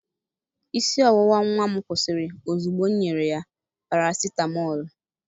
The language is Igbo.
Isi ọwụwa nwa m kwụsịrị ozugbo m nyere ya parasitamọlụ